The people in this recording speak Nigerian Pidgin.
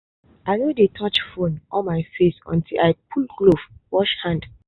i no dey touch phone or my face until i pull glove and wash hand.